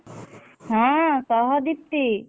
ହଁ କହ ଦୀପ୍ତି।